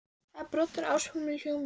Það er broddur af ásökun í hljómnum.